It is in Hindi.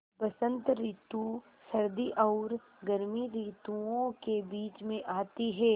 बसंत रितु सर्दी और गर्मी रितुवो के बीच मे आती हैँ